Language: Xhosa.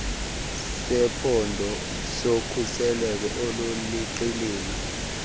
sephondo sokhuselo oluliqilima